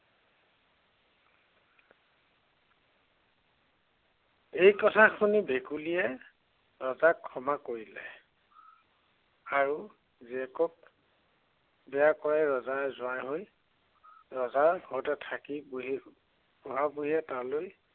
এই কথা শুনি ভেকুলীয়ে ৰজাক ক্ষমা কৰিলে। আৰু জীয়েকক বিয়া কৰাই ৰজাৰ জোঁৱাই হৈ, ৰজাৰ ঘৰতে থাকি বুঢ়ী, বুঢ়া বুঢীয়ে তালৈ